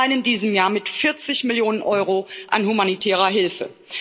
Allein in diesem Jahr mit 40 Millionen Euro an humanitärer Hilfe.